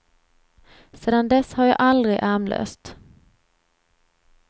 Sedan dess har jag aldrig ärmlöst.